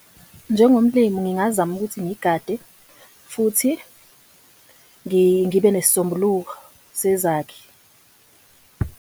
Njengomlimu ngingazama ukuthi ngigade futhi ngibe sezakhi.